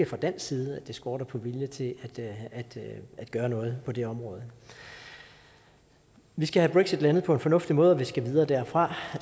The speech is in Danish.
fra dansk side at det skorter på vilje til at gøre noget på det område vi skal have brexit landet på en fornuftig måde og vi skal videre derfra